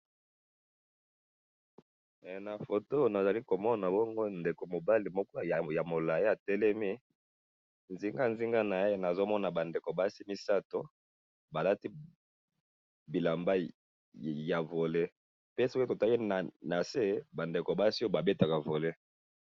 Na photo oyo nazali komona bongo ndeko mobali moko ya molai atelemi nzinga nzinga na ye nazo mona ba ndeko basi misatu balati bilamba ya volley pe soki totali na se ba ndeko basi oyo babetaka volley